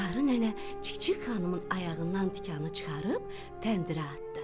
Qarı nənə Çik-çik xanımın ayağından tikanı çıxarıb təndirə atdı.